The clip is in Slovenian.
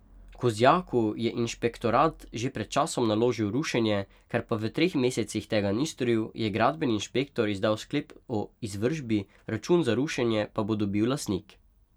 Kozjaku je inšpektorat že pred časom naložil rušenje, ker pa v treh mesecih tega ni storil, je gradbeni inšpektor izdal sklep o izvršbi, račun za rušenje pa bo dobil lastnik.